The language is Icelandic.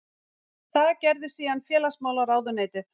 Það gerði síðan félagsmálaráðuneytið